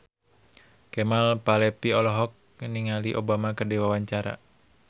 Kemal Palevi olohok ningali Obama keur diwawancara